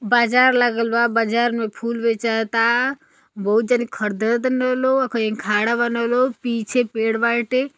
बाजार लागल बा। बाजार में फूल बेचाता। बहुत जानी खरदतन लो। आ कहीय खड़ा बान लो। पीछे पेड़ बाटे।